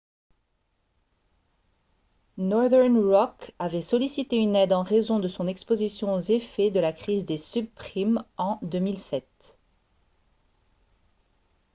northern rock avait sollicité une aide en raison de son exposition aux effets de la crise des subprimes en 2007